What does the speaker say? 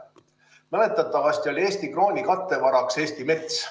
Mäletatavasti oli Eesti krooni kattevaraks Eesti mets.